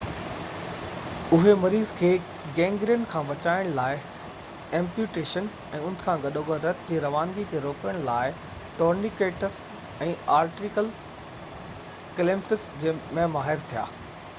اهي مريض کي گينگرين کان بچائڻ لاءِ ايمپيوٽيشن ۽ ان سان گڏوگڏ رت جي روانگي کي روڪڻ جي لاءِ ٽورنيڪيٽس ۽ آرٽيريل ڪليمپس ۾ ماهر ٿيا